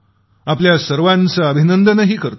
आपल्या सर्वांचे अभिनंदनही करतो